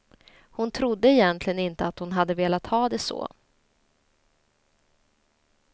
Hon trodde egentligen inte att hon hade velat ha det så.